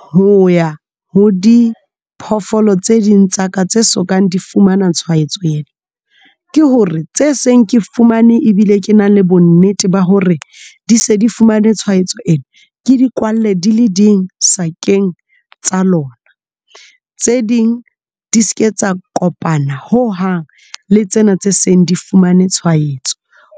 ho ya ho diphoofolo tse ding tsa ka tse sokang di fumana tshwaetso ena ke hore tse seng ke fumane ebile ke na le bonnete ba hore di se di fumane tshwaetso ena ke di kwale di le di sakeng tsa lona, tse ding e di seke tsa kopana ho hang le tsena tse seng di fumane tshwaetso